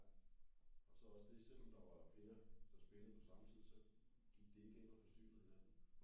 Ja og så også det selvom der var flere der spillede på samme tid så gik det ikke ind og forstyrrede hinanden